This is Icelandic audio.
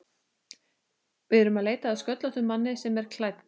Við erum að leita að sköllóttum manni sem er klædd